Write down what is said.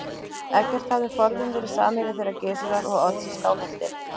Eggert hafði forðum verið samherji þeirra Gizurar og Odds í Skálholti.